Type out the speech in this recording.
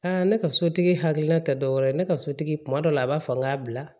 Aa ne ka sotigi hakilina tɛ dɔwɛrɛ ye ne ka sotigi kuma dɔw la a b'a fɔ n k'a bila